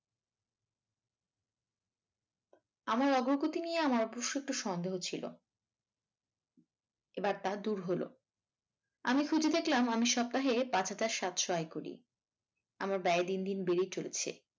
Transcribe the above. আমার অগ্রগতি নিয়ে আমার অবশ্য একটু সন্দেহ ছিল এবার তা দূর হল আমি খুঁজে দেখলাম আমি সপ্তাহে পাঁচ হাজার সাতশ আয় করি আমার ব্যয় দিনদিন বেড়েই চলেছে।